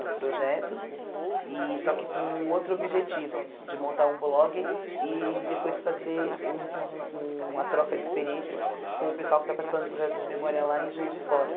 no projeto, e só que com outro objetivo, de montar um blog e depois fazer um um uma troca de experiências com o pessoal que está participando do projeto de memória lá em Juiz de Fora.